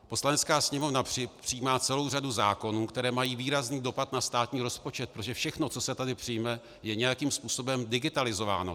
Poslanecká sněmovna přijímá celou řadu zákonů, které mají výrazný dopad na státní rozpočet, protože všechno, co se tady přijme, je nějakým způsobem digitalizováno.